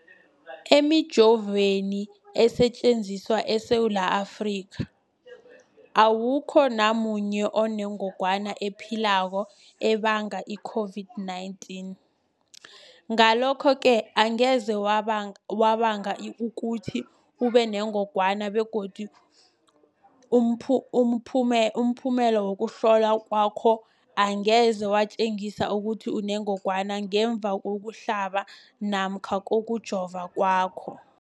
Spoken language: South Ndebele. Emijoveni esetjenziswa eSewula Afrika, awukho namunye onengog wana ephilako ebanga i-COVID-19. Ngalokho-ke angeze yabanga ukuthi ubenengogwana begodu umphumela wokuhlolwan kwakho angeze watjengisa ukuthi unengogwana ngemva kokuhlaba namkha kokujova kwakho.